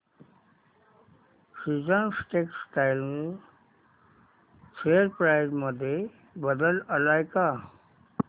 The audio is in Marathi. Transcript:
सीजन्स टेक्स्टटाइल शेअर प्राइस मध्ये बदल आलाय का